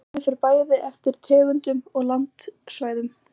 Flugtíminn fer bæði eftir tegundum og landsvæðum.